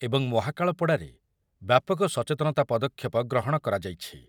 ତଟବର୍ତ୍ତୀ ରାଜନଗର ଏବଂ ମହାକାଳପଡ଼ାରେ ବ୍ୟାପକ ସଚେତନତା ପଦକ୍ଷେପ ଗ୍ରହଣ କରାଯାଇଛି ।